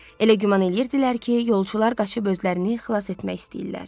Elə güman eləyirdilər ki, yolçular qaçıb özlərini xilas etmək istəyirlər.